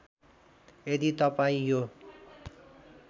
यदि तपाईँ यो